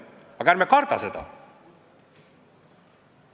Ärme kardame seda!